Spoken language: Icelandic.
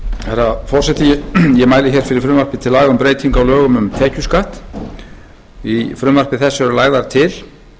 herra forseti ég mæli hér fyrir frumvarpi til laga um breytingu á lögum um tekjuskatt í frumvarpi þessu eru lagðar til